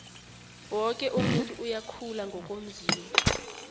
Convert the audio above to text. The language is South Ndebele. woke umuntu uyakhula ngokomzimba